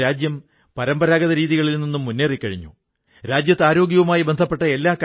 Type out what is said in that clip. അദ്ദേഹം ഭാരതീയ ജനങ്ങളുടെ മനസ്സിനെ സ്വാതന്ത്ര്യസമരവുമായി ബന്ധിപ്പിച്ചു